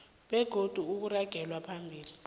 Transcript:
begodu kuragelwe phambili